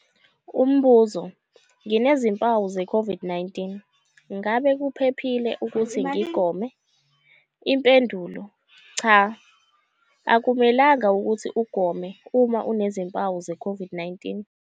Umbuzo- Nginezimpawu ze-COVID-19, ngabe kuphephile ukuthi ngigome? Impendulo- Cha. Akumelanga ukuthi ugome uma unezimpawu zeCOVID-19.